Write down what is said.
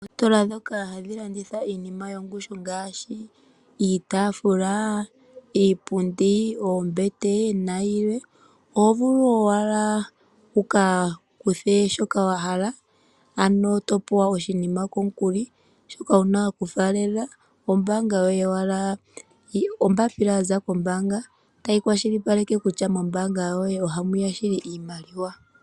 Oositola dhoka hadhi landitha iinima yongushu ngaashi, iitaafula, iipundi, oombete nayilwe, oho vulu owala wukakuthe shoka wahala ano topewa oshinima komukuli, shoka wuna okufaalela ombaanga yoye wala , ombaapila yaza kombanga tayi kwashilipaleka kutya mombaanga yoye ohamuya shili iimaliwa.